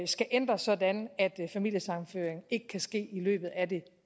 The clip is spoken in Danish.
skal ændres sådan at familiesammenføring ikke kan ske i løbet af det